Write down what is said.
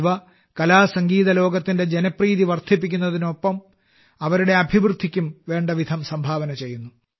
ഇവ കലാസംഗീത ലോകത്തിന്റെ ജനപ്രീതി വർധിപ്പിക്കുന്നതിനൊപ്പം അവരുടെ അഭിവൃദ്ധിയ്ക്കും വേണ്ടവിധം സംഭാവന ചെയ്യുന്നു